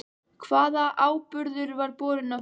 Hvaða áburður var borinn á tún?